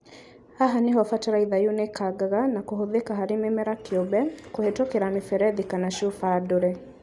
Haha nĩho bataraitha yunĩkangaga na kũhũthĩka harĩ mĩmera kĩũmbe, kũhetũkĩra mĩberethi kana cuuba ndũre